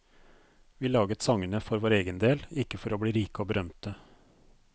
Vi laget sangene for vår egen del, ikke for å bli rike og berømte.